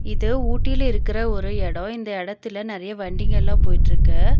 இது ஊட்டில இருக்குற ஒரு எடோ இந்த எடத்துல நெறைய வண்டிங்கெல்லா போயிட்ருக்கு.